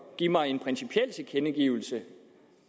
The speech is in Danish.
give mig en principiel tilkendegivelse